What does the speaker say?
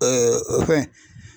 fɛn